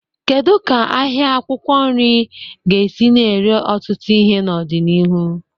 Kedu ka ahịa akwụkwọ nri ga-esi na-ere ọtụtụ ihe n'ọdịniihu?